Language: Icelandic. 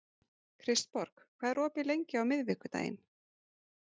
Kristborg, hvað er opið lengi á miðvikudaginn?